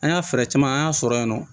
An y'a fɛɛrɛ caman an y'a sɔrɔ yen nɔ